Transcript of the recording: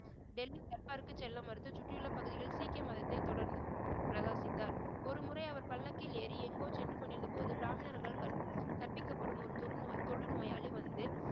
டெல்லி செல்ல மறுத்து சுற்றியுள்ள பகுதியில் சீக்கிய மதத்தை தொடர்ந்து பிரகாசித்தார் ஒருமுறை அவர் பல்லக்கில் ஏறி எங்கோ சென்று கொண்டிருந்தபோது பிராமணர்கள் கற்ப்~ கற்பிக்கப்படும் ஒரு தொழுநோய்~ தொழு நோயாளி வந்து